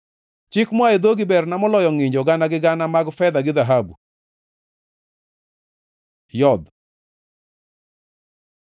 Chik moa e dhogi berna moloyo ngʼinjo gana gi gana mag fedha gi dhahabu. י Yodh